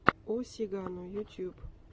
о сигано ютуб